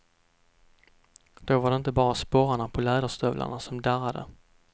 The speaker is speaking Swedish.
Då var det inte bara sporrarna på läderstövlarna som darrade.